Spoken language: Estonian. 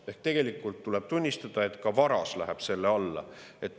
Ehk tegelikult tuleb tunnistada, et ka varas läheb selle alla.